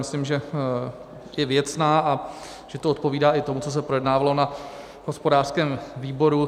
Myslím, že je věcná a že to odpovídá i tomu, co se projednávalo na hospodářském výboru.